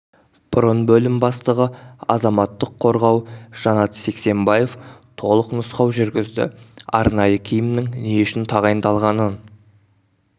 бұрын бөлім бастығы азаматтық қорғау жанат сексембаев толық нұсқау жүргізді арнайы киімнің не үшін тағайындалғанын